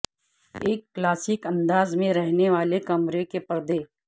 ایک کلاسک انداز میں رہنے والے کمرے کے پردے